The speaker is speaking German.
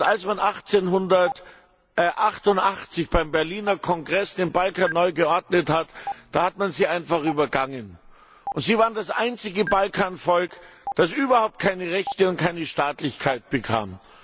Als man 1878 beim Berliner Kongress den Balkan neu geordnet hat, da hat man sie einfach übergangen, und sie waren das einzige Balkanvolk, das überhaupt keine Rechte und keine Staatlichkeit bekam.